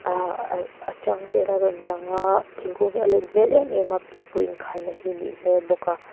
ahh a tang vel a rawn lang a thingkung hi a len hmel em em a pipu in khai na hi a nih hmel bawk a.